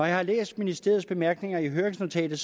jeg har læst ministeriets bemærkninger i høringsnotatet